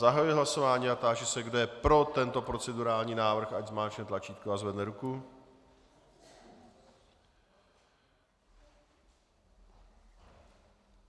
Zahajuji hlasování a táži se, kdo je pro tento procedurální návrh, ať zmáčkne tlačítko a zvedne ruku.